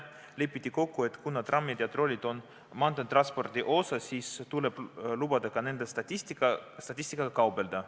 Lepiti kokku, et kuna trammid ja trollid on maanteetranspordi osa, siis tuleb lubada ka nende statistikaga kaubelda.